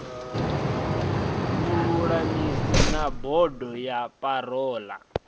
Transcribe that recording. vhululamisi na bodo ya parole